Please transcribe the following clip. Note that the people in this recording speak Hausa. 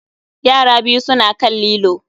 Yara biyu suna kan lilo